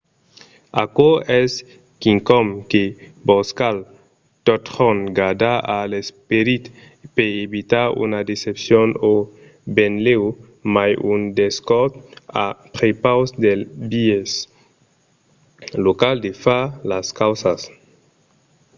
aquò es quicòm que vos cal totjorn gardar a l’esperit per evitar una decepcion o benlèu mai un descòr a prepaus del biais local de far las causas